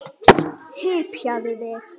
Hypjaðu þig!